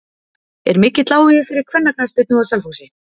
Er mikill áhugi fyrir kvennaknattspyrnu á Selfossi?